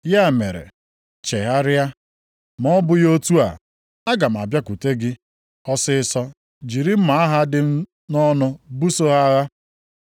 Ya mere, chegharịa! Ma ọ bụghị otu a, aga m abịakwute gị ọsịịsọ jiri mma agha dị m nʼọnụ buso ha agha.